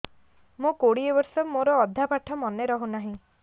ମୋ କୋଡ଼ିଏ ବର୍ଷ ମୋର ଅଧା ପାଠ ମନେ ରହୁନାହିଁ